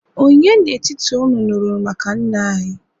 ònye n'etiti unu nuru maka nna-anyi?